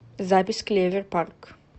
запись клевер парк